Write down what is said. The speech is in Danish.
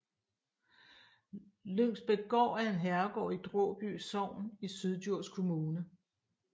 Lyngsbækgård er en herregård i Dråby Sogn i Syddjurs Kommune